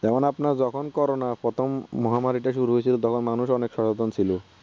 যেমন আপনার যখন corona প্রথম মহামারিটা শুরু হয়ছিল তখন মানুষ অনেক সচেতন ছিলো